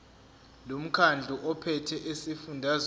lomkhandlu ophethe esifundazweni